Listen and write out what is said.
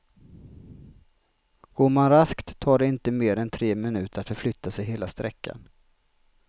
Går man raskt tar det inte mer än tre minuter att förflytta sig hela sträckan.